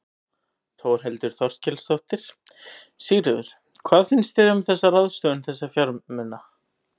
Þórhildur Þorkelsdóttir: Sigríður, hvað finnst þér um þessa ráðstöfun þessa fjármuna?